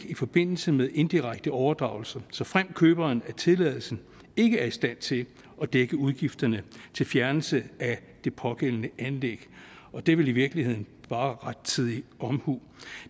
i forbindelse med indirekte overdragelse såfremt køberen af tilladelsen ikke er i stand til at dække udgifterne til fjernelse af det pågældende anlæg og det er vel i virkeligheden bare rettidig omhu